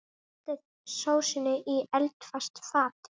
Hellið sósunni í eldfast fat.